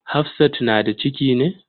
Hafsat na da ciki ne?